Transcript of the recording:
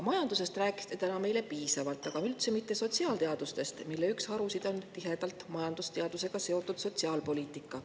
Majandusest rääkisite täna meile piisavalt, aga üldse mitte sotsiaalteadustest, mille üks harusid on majandusteadusega tihedalt seotud sotsiaalpoliitika.